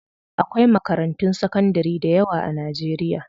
Akwai makarantun sakandari dayawa a Najeriya.